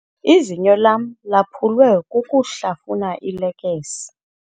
Izinyo lam laphulwe kukuhlafuna iilekese.